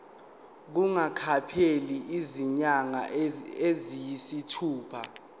kungakapheli izinyanga eziyisithupha